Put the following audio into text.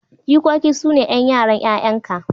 Jikoki sune 'ƴan yaran 'ƴa'yanka.